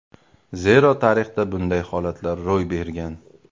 Zero tarixda bunday holatlar ro‘y bergan.